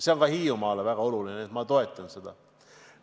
See on ka Hiiumaa jaoks väga oluline, nii et ma toetan seda.